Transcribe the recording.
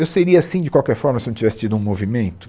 Eu seria assim de qualquer forma se eu não tivesse tido um movimento?